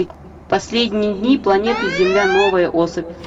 последние дни планеты земля новая особь